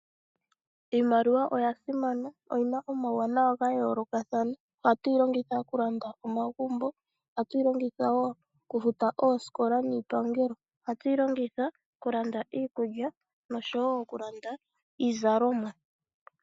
Iimaliwa oyasimana, oyina omawuwanawa gayoolokathana. Ohatu yilongitha okulanda omagumbo, ohatu yilongitha wo okufuta oosikola niipangelo. Ohatu yilongitha okulanda iikulya nosho wo okulanda iizalomwa.